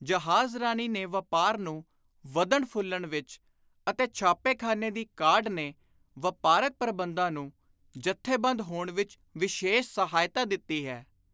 ਜਹਾਜ਼ਰਾਨੀ ਨੇ ਵਾਪਾਰ ਨੂੰ ਵਧਣ ਫੁੱਲਣ ਵਿਚ ਅਤੇ ਛਾਪੇਖ਼ਾਨੇ ਦੀ ਕਾਢ ਨੇ ਵਾਪਾਰਕ ਪ੍ਰਬੰਧਾਂ ਨੂੰ ਜਥੇਬੰਦ ਹੋਣ ਵਿਚ ਵਿਸ਼ੇਸ਼ ਸਹਾਇਤਾ ਦਿੱਤੀ ਹੈ।